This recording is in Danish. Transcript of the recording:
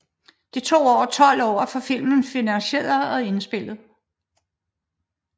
Det tog over 12 år at få filmen finansieret og indspillet